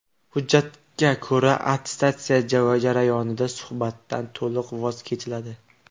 Hujjatga ko‘ra, attestatsiya jarayonida suhbatdan to‘liq voz kechiladi.